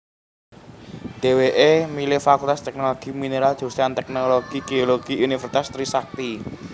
Dheweké milih Fakultas Teknologi Mineral jurusan Teknik Geologi Universitas Trisakti